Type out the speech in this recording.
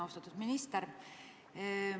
Austatud minister!